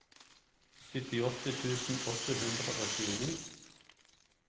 syttiåtte tusen åtte hundre og tjueni